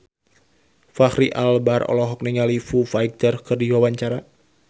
Fachri Albar olohok ningali Foo Fighter keur diwawancara